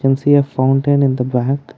we see a fountain in the back.